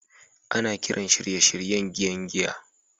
Ana kiran shirye-shiryen giyan giya